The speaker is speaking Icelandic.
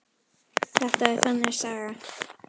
Þetta er þannig saga.